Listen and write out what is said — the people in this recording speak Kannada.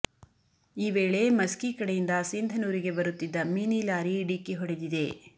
ಈ ವೇಳೆ ಮಸ್ಕಿ ಕಡೆಯಿಂದ ಸಿಂಧನೂರಿಗೆ ಬರುತ್ತಿದ್ದ ಮಿನಿ ಲಾರಿ ಡಿಕ್ಕಿ ಹೊಡೆದಿದೆ